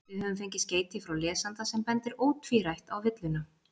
Við höfum fengið skeyti frá lesanda sem bendir ótvírætt á villuna.